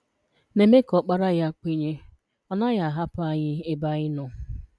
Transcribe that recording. Na-eme ka Ọkpara Ya kwenye Ọ naghị ahapụ anyị ebe anyị nọ.